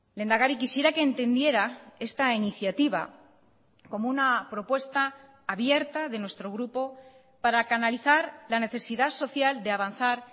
lehendakari quisiera que entendiera esta iniciativa como una propuesta abierta de nuestro grupo para canalizar la necesidad social de avanzar